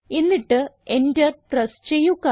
എന്നിട്ട് Enter press ചെയ്യുക